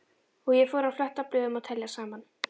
Og ég fór að fletta blöðum og telja saman.